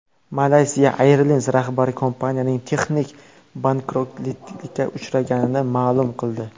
Malaysia Airlines rahbari kompaniyaning texnik bankrotlikka uchraganini ma’lum qildi.